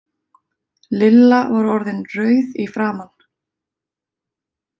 Lilla var orðin rauð í framan.